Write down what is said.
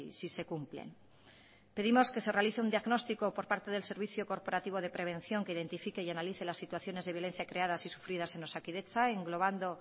si se cumplen pedimos que se realice un diagnóstico por parte del servicio corporativo de prevención que identifique y analice las situaciones de violencia creadas y sufridas en osakidetza englobado